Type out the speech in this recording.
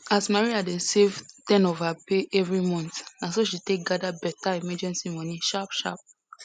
as maria dey save ten of her pay every month na so she take gather better emergency money sharp sharp